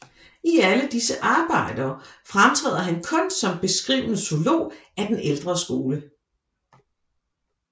I alle disse arbejder fremtræder han kun som beskrivende zoolog af den ældre skole